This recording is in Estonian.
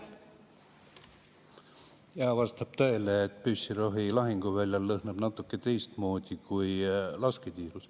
Jah, vastab tõele, et püssirohi lõhnab lahinguväljal natuke teistmoodi kui lasketiirus.